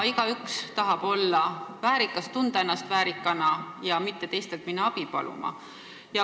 Igaüks tahab tunda ennast väärikana, keegi ei taha minna teistelt abi paluma.